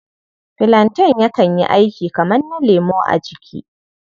Filanten yakan yi aiki kamar na lemo a jiki.